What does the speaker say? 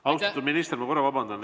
Austatud minister, ma vabandan!